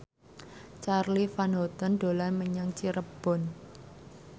Charly Van Houten dolan menyang Cirebon